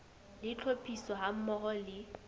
le tlhophiso ha mmoho le